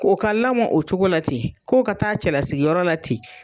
K'o ka lamɔ o cogo la ten, k'o ka taa cɛlasigiyɔrɔ la ten